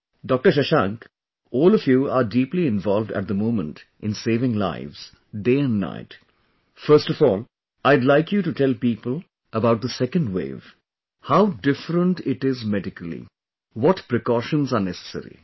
Dr Shashank, all of you are deeply involved at the moment in saving lives, day and night...first of all, I'd like you to tell people about the Second Wave; how different it is medically, what precautions are necessary